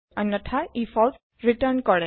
অন্যথা ই false return কৰে